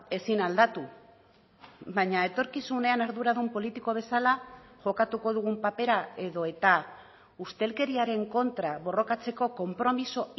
ezin aldatu baina etorkizunean arduradun politiko bezala jokatuko dugun papera edota ustelkeriaren kontra borrokatzeko konpromiso